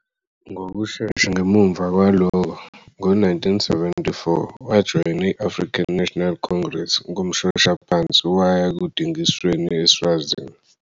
Ngokushesha ngemuva kwalokho, ngo-1974, wajoyina i-African National Congress ngomshoshaphansi waya ekudingisweni eSwazini.